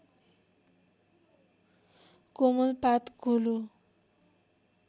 कोमल पात गोलो